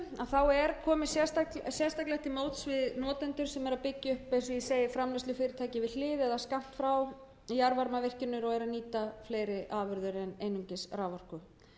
þessu er komið sérstaklega til móts við notendur sem eru að byggja upp eins og ég segi framleiðslufyrirtæki við hlið eða skammt frá jarðvarmavirkjun og eru að nýta fleiri afurðir en einungis raforku